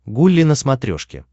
гулли на смотрешке